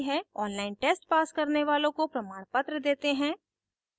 online test pass करने वालों को प्रमाणपत्र देते हैं